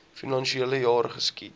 finansiele jaar geskied